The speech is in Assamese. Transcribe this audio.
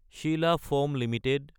Sheila foam Ltd